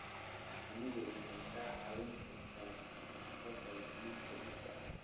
Shinnidu waxay kaa caawin kartaa ka hortagga luminta dhirta.